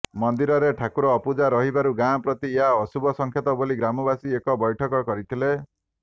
ମନ୍ଦିରରେ ଠାକୁର ଅପୂଜା ରହିବାରୁ ଗାଁ ପ୍ରତି ଏହା ଅଶୁଭ ସଙ୍କେତ ବୋଲି ଗ୍ରାମବାସୀ ଏକ ବୈଠକ କରିଥିଲେ